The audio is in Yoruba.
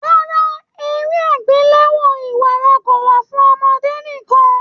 Rárá, eré agbelewo ìwárà kò wà fún ọmọdé nìkan.